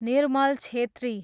Nirmal Chhetri